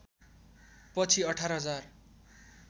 पछि १८ हजार